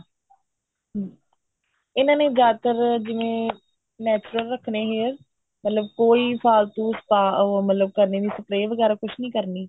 ਇਹਨਾ ਨੇ ਜਿਆਦਾਤਰ ਜਿਵੇਂ natural ਰੱਖਣੇ hair ਮਤਲਬ ਕੋਈ ਫਾਲਤੂ spa ਮਤਲਬ ਕਰਨੀ ਨਹੀਂ spray ਵਗੈਰਾ ਕੁੱਛ ਨਹੀਂ ਕਰਨੀ